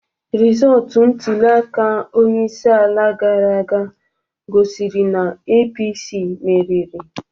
Rịzọọtụ ntuliaka onyeisiala gara aga gosiri na APC meriri.